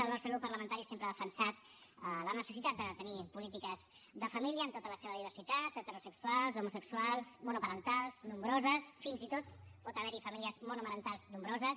el nostre grup parlamentari sempre ha defensat la necessitat de tenir polítiques de família en tota la seva diversitat heterosexuals homosexuals monoparentals nombroses fins i tot pot haver hi famílies monomarentals nombroses